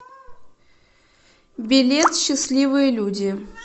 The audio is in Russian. билет счастливые люди